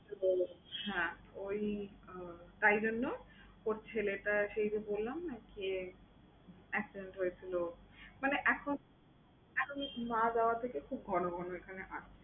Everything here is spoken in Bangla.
কি বলো? হ্যাঁ ঐ আহ তাই জন্য ওর ছেলেটা সেইযে বললাম না? সে accident হয়েছিলো মানে এখন এখন মা বাবা তাকে খুব ঘন ঘন এখানে আসে।